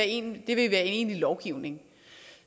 en egentlig lovgivning